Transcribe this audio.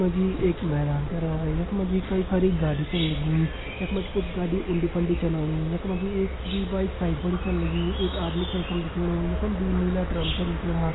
यख मा जी एक मैदान करा यख मा जी कई सारी गाड़ी छन लगीं यख मा जी कुछ गाड़ी उंडी फंडी छन ओणि यख मा जी एक-दुई बाइक साइड फण छन लगीं एक आदमी छ यखम दिखेणु यखम दुई नीला ड्रम छन दिखेणा।